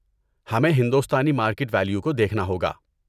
ہمیں ہندوستانی market value کو دیکھنا ہوگا۔